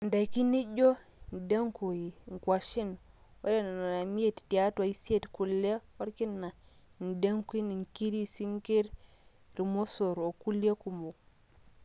indaiki nijo, indengui, ingwashen. ore nena imiet tiatwa isiet, kule orkina, indenguin, inkiri, isinkir, irmosor onkulie kumok